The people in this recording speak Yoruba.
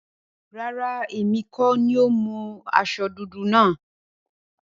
Rárá, èmi kọ́ni mo mú aṣọ dúdú náà.